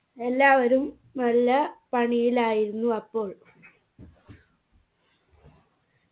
എല്ലാവരും നല്ല പണിയിലായിരുന്നു അപ്പോൾ